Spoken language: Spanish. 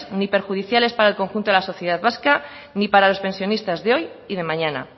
ni perjudiciales para el conjunto de la sociedad vasca ni para los pensionistas de hoy y de mañana